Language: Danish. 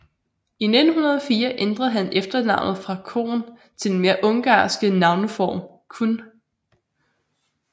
I 1904 ændrede han efternavnet fra Kohn til den mere ungarske navneform Kun